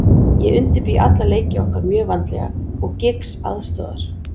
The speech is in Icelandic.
Ég undirbý alla leiki okkar mjög vandlega og Giggs aðstoðar.